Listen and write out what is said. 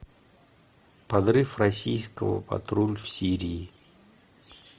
подрыв российского патруль в сирии